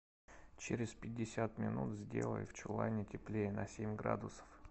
через пятьдесят минут сделай в чулане теплее на семь градусов